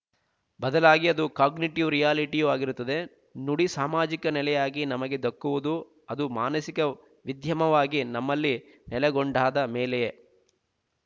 ಬದಲಾಗಿ ಅದು ಕಾಗ್ನಿಟಿವ್ ರಿಯಾಲಿಟಿಯೂ ಆಗಿರುತ್ತದೆ ನುಡಿ ಸಾಮಾಜಿಕ ನೆಲೆಯಾಗಿ ನಮಗೆ ದಕ್ಕುವುದು ಅದು ಮಾನಸಿಕ ವಿದ್ಯಮಾವಾಗಿ ನಮ್ಮಲ್ಲಿ ನೆಲೆಗೊಂಡಾದ ಮೇಲೆಯೇ